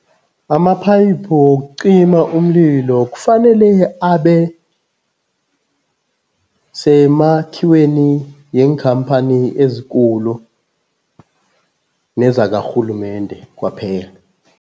Amaphayiphi wokucima umlilo kufanele abe semakhiweni yeenkhamphani ezikulu nezakarhulumende kwaphela.